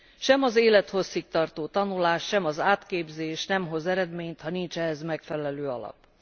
Sem az élethosszig tartó tanulás, sem az átképzés nem hoz eredményt, ha nincs hozzá megfelelő alap.